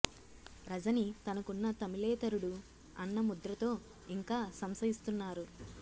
రజని తనకున్న తమిళేతరుడు అన్న ముద్ర తో ఇంకా సంశయిస్తున్నారు